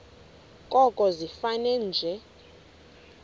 koko ifane nje